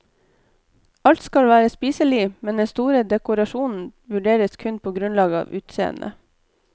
Alt skal være spiselig, men den store dekorasjonen vurderes kun på grunnlag av utseende.